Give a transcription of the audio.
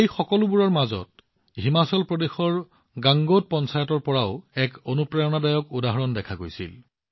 এই সকলোবোৰৰ মাজত হিমাচল প্ৰদেশৰ গাংগোট পঞ্চায়তৰ পৰাও এক ডাঙৰ অনুপ্ৰেৰণাদায়ক উদাহৰণ দেখা গৈছিল